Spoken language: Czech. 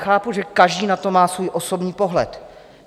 Chápu, že každý na to má svůj osobní pohled.